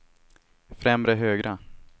främre högra